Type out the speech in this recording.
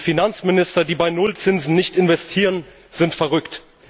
Finanzminister, die bei Nullzinsen nicht investieren, sind verrückt.